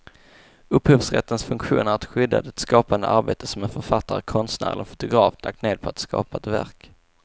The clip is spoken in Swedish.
Upphovsrättens funktion är att skydda det skapande arbete som en författare, konstnär eller fotograf lagt ned på att skapa ett verk.